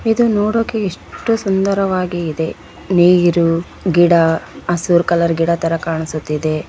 ಇದು ನೋಢೋಕೆ ಎಷ್ಟು ಸುಂದರವಾಗಿದೆ ನೀರು ಗಿಡ ಹಸಿರು ಕಲರ್‌ ಗಿಡ ತರ ಕಾಣಿಸುತ್ತಿದೆ .